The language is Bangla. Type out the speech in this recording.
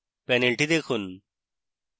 panel দেখুন